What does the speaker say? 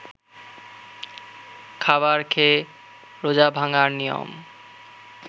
খাবার খেয়ে রোজা ভাঙ্গার নিয়ম